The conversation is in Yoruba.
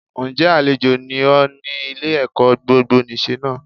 Ǹ jẹ́ àlejò ni ọ́ ní Ile ẹ̀kọ́ gbogbonìse náà